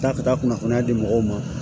Taa ka taa kunnafoniya di mɔgɔw ma